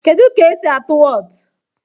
Kedụ ka-esi atụ Wọọtụ?